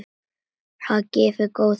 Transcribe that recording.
Það hefur gefið góða raun.